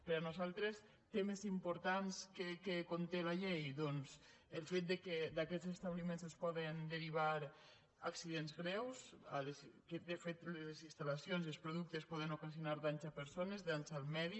per nosaltres temes importants que conté la llei doncs el fet que d’aquests establiments se’n poden derivar accidents greus que de fet les instal·lacions i els productes poden ocasionar danys a persones danys al medi